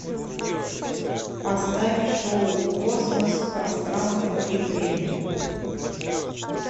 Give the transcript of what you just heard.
поставь шоу космос пространство и время